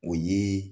O ye